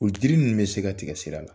U jiri ninnu bɛ se ka tigɛ sira la